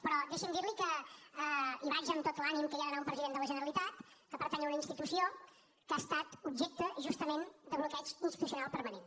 però deixi’m dirli que hi vaig amb tot l’ànim que hi ha d’anar un president de la generalitat que pertany a una institució que ha estat objecte justament de bloqueig institucional permanent